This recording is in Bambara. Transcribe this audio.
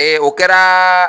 Ee o kɛraaa.